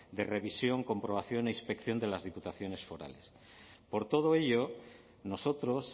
de revisión comprobación e inspección de las diputaciones forales por todo ello nosotros